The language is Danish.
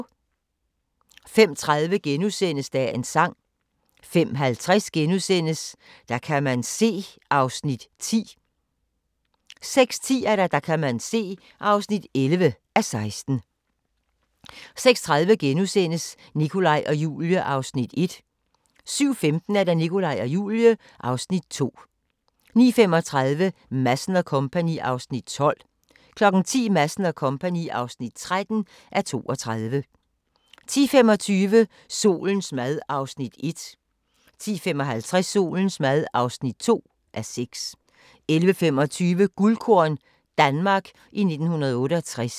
05:30: Dagens sang * 05:50: Der kan man se (10:16)* 06:10: Der kan man se (11:16) 06:30: Nikolaj og Julie (Afs. 1)* 07:15: Nikolaj og Julie (Afs. 2) 09:35: Madsen & Co. (12:32) 10:00: Madsen & Co. (13:32) 10:25: Solens mad (1:6) 10:55: Solens mad (2:6) 11:25: Guldkorn – Danmark i 1968